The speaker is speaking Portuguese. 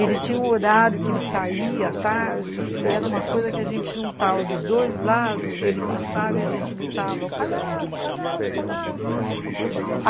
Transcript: Ele tinha um horário que ele saía, tarde, e era uma coisa que a gente juntava dos dois lados, e ele passava e a gente gritava, o palhaço, o palhaço, o palhaço.